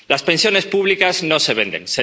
Las pensiones públicas no se venden.